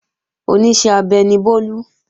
Oníṣẹ́ abẹ ni Bólú